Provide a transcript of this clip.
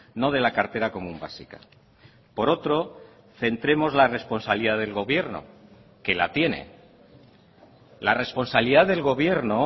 no de la cartera común básica por otro centremos la responsabilidad del gobierno que la tiene la responsabilidad del gobierno